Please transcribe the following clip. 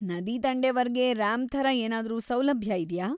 ನದಿದಂಡೆವರ್ಗೆ ramp ಥರ ಏನಾದ್ರೂ ಸೌಲಭ್ಯ ಇದ್ಯಾ?